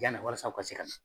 walasa o ka se ka